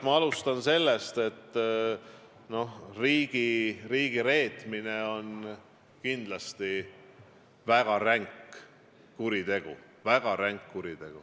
Ma alustan sellest, et riigireetmine on kindlasti väga ränk kuritegu.